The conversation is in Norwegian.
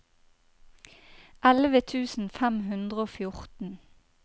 elleve tusen fem hundre og fjorten